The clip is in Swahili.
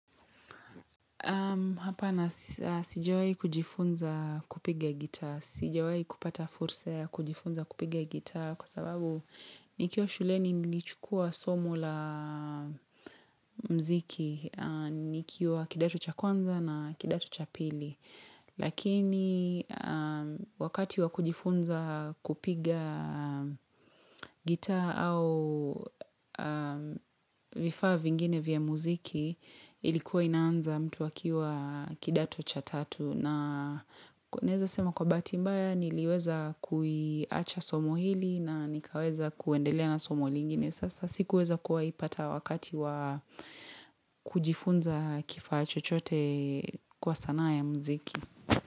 Hapa na sijawai kujifunza kupiga gita, sijawai kupata fursa ya kujifunza kupiga gita kwa sababu nikiwa shuleni nilichukua somo la mziki, nikiwa kidato cha kwanza na kidato cha pili. Lakini wakati wakujifunza kupiga gita au vifaa vingine vya muziki ilikuwa inaanza mtu akiwa kidato cha tatu na kuneza sema kwa batimbaya niliweza kuiacha somo hili na nikaweza kuendelea na somo lingine Sasa sikuweza kuwa ipata wakati wakati wakujifunza kifaa chochote kwa sanaa ya muziki.